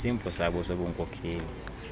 kwisimbo sabo sobunmkokeli